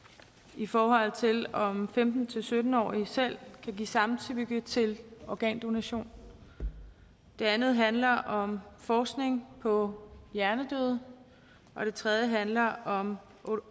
i forhold til om femten til sytten årige selv kan give samtykke til organdonation det andet handler om forskning på hjernedøde og det tredje handler om